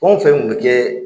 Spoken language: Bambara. Fɛnw o fen kun bɛ kɛ.